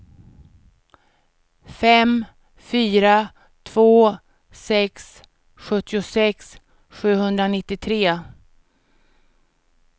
fem fyra två sex sjuttiosex sjuhundranittiotre